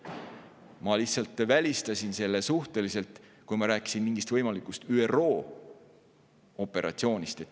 Ma lihtsalt välistasin selle suhteliselt, kui ma rääkisin mingist võimalikust ÜRO operatsioonist.